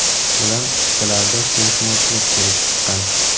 bilan o‘rtalarida kelishmovchilik kelib chiqqan.